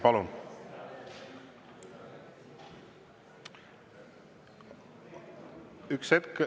Palun!